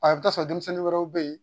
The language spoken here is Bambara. A i bi taa sɔrɔ denmisɛnnin wɛrɛw be yen